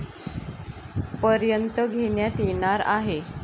पर्यंत घेण्यात येणार आहे.